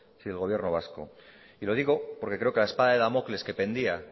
si el gobierno vasco y lo digo porque creo que la espada de damocles que pendía